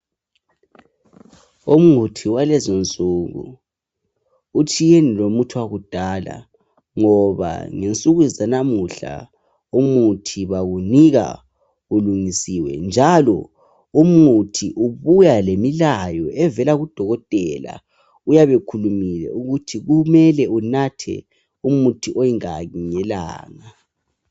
umuthi walezinsuku utshiyene lomuthi wakudala ngoba ngensuku zanamuhla umuthi bawunika ulungisiwe njalo umuthi ubuya lemilayo evela ku dokotela uyabe ekhulumile ukuthi kumele unathe umuthi oyingaki ngelanga